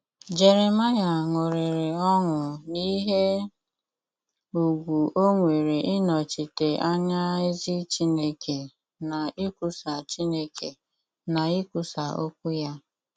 Jeremaịa ṅụrịrị ọṅụ n’ihe ùgwù o nwere ịnọchite anya ezi Chineke na ikwusa Chineke na ikwusa okwu ya.